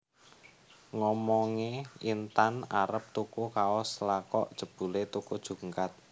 Ngomonge Intan arep tuku kaos lha kok jebule tuku jungkat